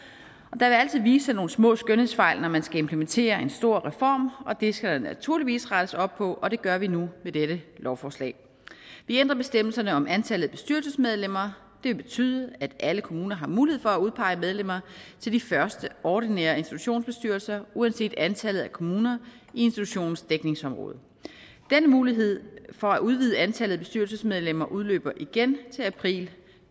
vil altid vise sig nogle små skønhedsfejl når man skal implementere en stor reform og det skal der naturligvis rettes op på det gør vi nu med dette lovforslag vi ændrer bestemmelserne om antallet af bestyrelsesmedlemmer det vil betyde at alle kommuner har mulighed for at udpege medlemmer til de første ordinære institutionsbestyrelser uanset antallet af kommuner i institutionens dækningsområde den mulighed for at udvide antallet af bestyrelsesmedlemmer udløber igen til april